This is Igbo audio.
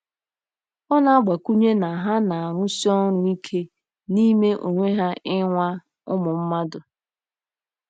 Ọ na-agbakwụnye na ha na-arụsi ọrụ ike n'ime onwe ha ịnwa ụmụ mmadụ.